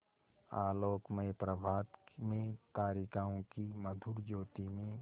आलोकमय प्रभात में तारिकाओं की मधुर ज्योति में